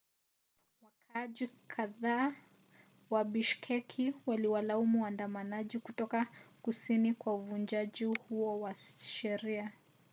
wakaaji kadhaa wa bishkek waliwalaumu waandamanaji kutoka kusini kwa uvunjaji huo wa sheria